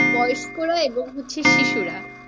বয়স্করা এবং হচ্ছে শিশুরা।